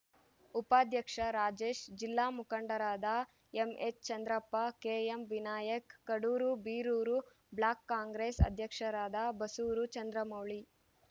ಉಪಾಧ್ಯಕ್ಷ ರಾಜೇಶ್‌ ಜಿಲ್ಲಾ ಮುಖಂಡರಾದ MH Chandrappa KM Vinayak Kadur Birur block Congress ಅಧ್ಯಕ್ಷರಾದ ಬಾಸೂರು ಚಂದ್ರಮೌಳಿ